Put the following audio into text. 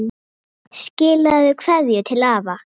Skilaðu kveðju til afa.